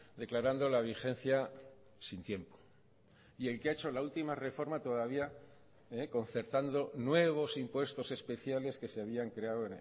declarando la vigencia sin tiempo y el que ha hecho la última reforma todavía concertando nuevos impuestos especiales que se habían creado